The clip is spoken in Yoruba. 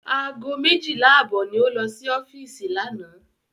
Ago méjìlá àbọ̀ ni ó lọ sí ọ́fíìsì lánàá.